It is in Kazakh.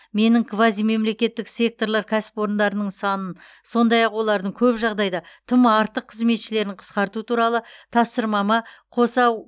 менің квазимемлекеттік секторлар кәсіпорындарының санын сондай ақ олардың көп жағдайда тым артық қызметшілерін қысқарту туралы тапсырмама қоса